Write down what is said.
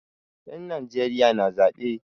Yan Najeriya na zaɓe.